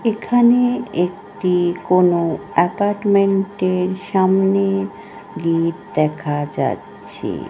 এখানে একটি কোনএপার্টমেন্ট -এর সামনে গেট দেখা যাচ্ছে।